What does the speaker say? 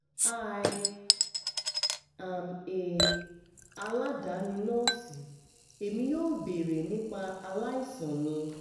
hi im a aladani nọọsi emi yoo beere nipa alaisan mi